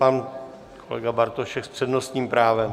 Pan kolega Bartošek s přednostním právem.